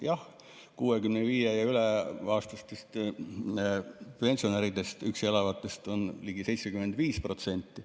Jah, 65‑aastastest pensionäridest üksi elavaid on ligi 75%.